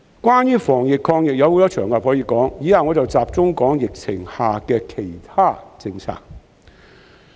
關於防疫抗疫的事宜，有很多場合可以說，以下我會集中談談疫情下的其他政策。